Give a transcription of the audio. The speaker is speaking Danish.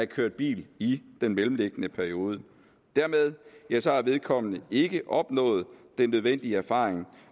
kørt bil i den mellemliggende periode dermed har vedkommende ikke opnået den nødvendige erfaring